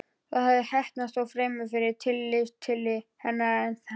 Það hafði heppnast, þó fremur fyrir tilstilli hennar en hans.